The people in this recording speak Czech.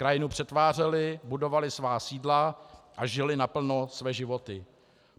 Krajinu přetvářeli, budovali svá sídla a žili naplno své životy.